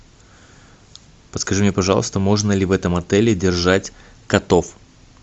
подскажи мне пожалуйста можно ли в этом отеле держать котов